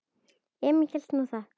Emil hélt nú það.